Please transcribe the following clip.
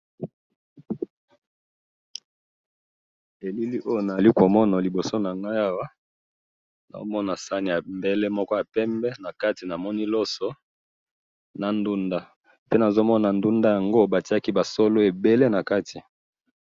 Elili oyo nazali komona liboso na ngai awa ,nao mona saani mbele moko ya pembe na kato namoni loso na ndunda pe ndunda yango batiaki ba solo ebele na kati